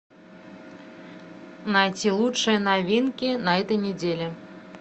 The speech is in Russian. найти лучшие новинки на этой недели